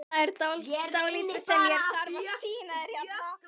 Það er dálítið sem ég þarf að sýna þér hérna!